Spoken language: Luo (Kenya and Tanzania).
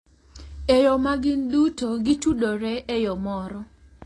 E yo ma gin duto gitudore e yo moro.